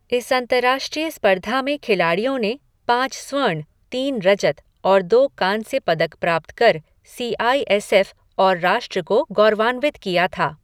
इस अंतर्राष्ट्रीय स्पर्धा में खिलाड़ियों ने पाँच स्वर्ण, तीन रजत और दो कांस्य पदक प्राप्त कर सी आई एस एफ और राष्ट्र को गौरवान्वित किया था।